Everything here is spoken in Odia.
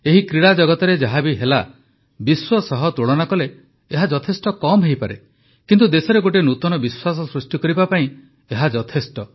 ଏହି କ୍ରୀଡ଼ା ଜଗତରେ ଯାହା ବି ହେଲା ବିଶ୍ୱ ସହ ତୁଳନା କଲେ ଏହା ଯଥେଷ୍ଟ କମ୍ ହୋଇପାରେ କିନ୍ତୁ ଦେଶରେ ଗୋଟିଏ ନୂତନ ବିଶ୍ୱାସ ସୃଷ୍ଟି କରିବା ପାଇଁ ଏହା ଯଥେଷ୍ଟ